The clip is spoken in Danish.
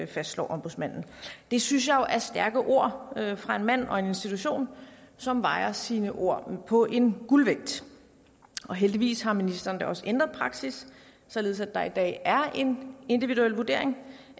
fastslår ombudsmanden det synes jeg jo er stærke ord fra en mand og en institution som vejer sine ord på en guldvægt og heldigvis har ministeren da også ændret praksis således at der i dag er en individuel vurdering